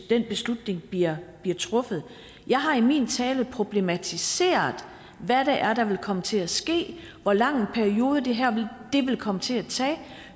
den beslutning bliver truffet jeg har i min tale problematiseret hvad det er der vil komme til at ske og hvor lang en periode det her vil komme til at tage